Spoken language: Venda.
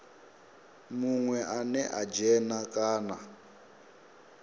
munwe ane a dzhena kana